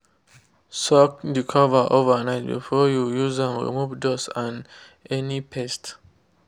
soaked de cover overnight before you use am remove dust and any pest.